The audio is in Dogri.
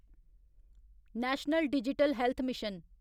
national digital health mission